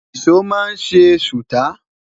ìsọ má n se suta